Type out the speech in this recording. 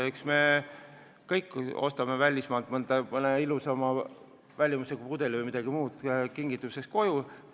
Eks me kõik ostame välismaalt mõne ilusama välimusega pudeli või midagi muud kingituseks koju.